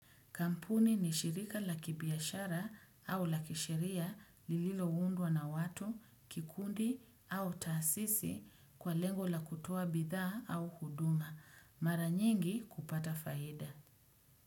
Kampuni ni shirika la kibiashara au la keshiria lililo undwa na watu, kikundi au tasisi kwa lengo la kutoa bidhaa au huduma. Mara nyingi kupata faida.